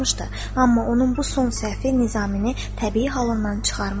Amma onun bu son səhvi Nizamini təbii halından çıxarmışdı.